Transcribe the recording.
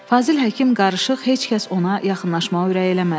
Fazil Həkim qarışıq heç kəs ona yaxınlaşmağa ürək eləmədi.